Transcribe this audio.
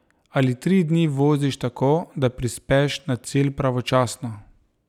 Ali tri dni voziš tako, da prispeš na cilj pravočasno.